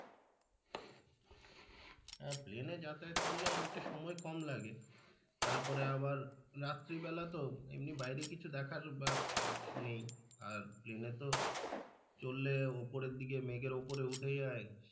আহ প্লেনে যাতে করলে অনেকটা সময় কম লাগে তারপরে আবার রাত্রিবেলা তো এমনি বাইরে কিছু দেখার বা নেই তো চললে উপরের দিকে মেঘের উপরে উঠে যায়।